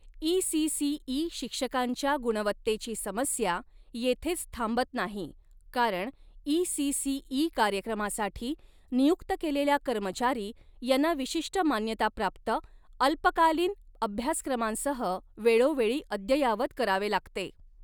ECCE शिक्षकांच्या गुणवत्तेची समस्या येथेच थांबत नाही कारण ईसीसीई कार्यक्रमासाठी नियुक्त केलेल्या कर्मचारी यांना विशिष्ट मान्यताप्राप्त अल्पकालीन अभ्यासक्रमांसह वेळोवेळी अद्ययावत करावे लागते.